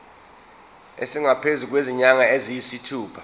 esingaphezu kwezinyanga eziyisithupha